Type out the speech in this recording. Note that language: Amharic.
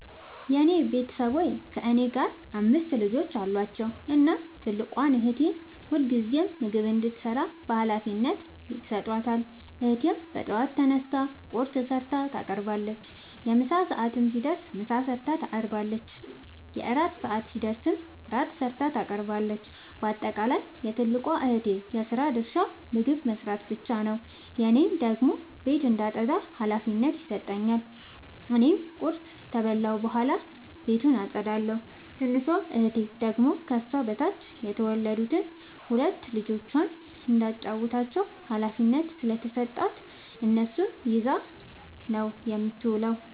የኔ ቤተሠቦይ ከእኔ ጋር አምስት ልጆች አሏቸዉ። እናም ትልቋን እህቴ ሁልጊዜም ምግብ እንድትሰራ ሀላፊነት ይሠጣታል። እህቴም በጠዋት ተነስታ ቁርስ ሠርታ ታቀርባለች። የምሣ ሰዓት ሲደርስም ምሳ ሠርታ ታቀርባለች። የእራት ሰዓት ሲደርስም ራት ሠርታ ታቀርባለች። ባጠቃለይ የትልቋ እህቴ የስራ ድርሻ ምግብ መስራት ብቻ ነዉ። እኔን ደግሞ ቤት እንዳጠዳ ሀላፊነት ይሠጠኛል። እኔም ቁርስ ከበላሁ በኃላ ቤቱን አጠዳለሁ። ትንሿ እህቴ ደግሞ ከሷ በታች የተወለዱትን ሁለት ልጆይ እንዳታጫዉታቸዉ ሀላፊነት ስለተሠጣት እነሱን ይዛ ነዉ የምትዉለዉ።